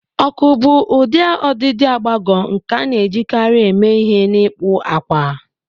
Ọkụ bụ ụdị ọdịdị agbagọ nke a na-ejikarị eme ihe n'ịkpụ akwa